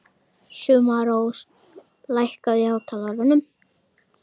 Sumarrós, lækkaðu í hátalaranum.